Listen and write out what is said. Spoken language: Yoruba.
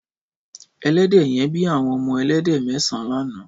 Ẹlẹdẹ yèn bi awọn ọmọ ẹlẹdẹ mẹsãn lànã